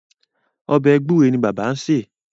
Ọbẹ̀ gbúre ni bàbá ń sè.